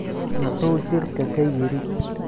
Muxuu shirka ka yidhi?